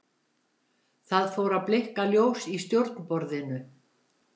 Það fór að blikka ljós í stjórnborðinu.